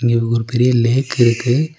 இருகு ஒரு பெரிய லேக்கிருக்கு .